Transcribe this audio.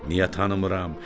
niyə tanımıram?